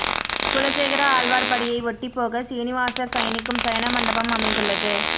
குலசேகர ஆழ்வார் படியை ஒட்டி போக சீனிவாசர் சயனிக்கும் சயன மண்டபம் அமைந்துள்ளது